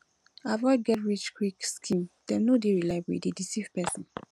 avoid get rich quick scheme dem no dey reliable e dey deceive pesin